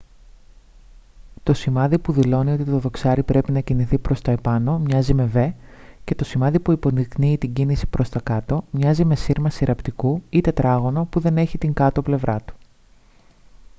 το σημάδι που δηλώνει ότι το δοξάρι πρέπει να κινηθεί προς τα επάνω μοιάζει με v και το σημάδι που υποδεικνύει την κίνηση προς τα κάτω μοιάζει με σύρμα συρραπτικού ή τετράγωνο που δεν έχει την κάτω πλευρά του